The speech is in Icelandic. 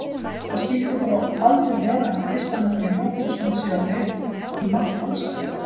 Það skyldi þó aldrei vera að Kristján Orri Jóhannsson sé á leið í mark Valsara??